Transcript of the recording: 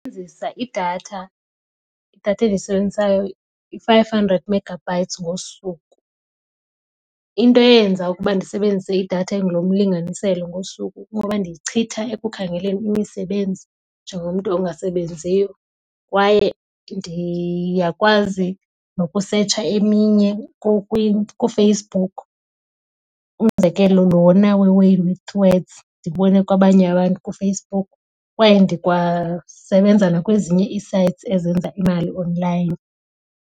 idatha, idatha endiyisebenzisayo yi-five hundred megabytes ngosuku. Into eyenza ukuba ndisebenzise idatha engulo mlinganiselo ngosuku kungoba ndiyichitha ekukhangeleni imisebenzi njengomntu ongasebenziyo kwaye ndiyakwazi nokusetsha eminye kuFacebook. Umzekelo lona weWay With Words ndiwubone kwabanye abantu kuFacebook. Kwaye ndikwasebenza nakwezinye ii-sites ezenza imali online.